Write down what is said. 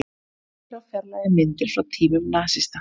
Sendiráð fjarlægi myndir frá tímum nasista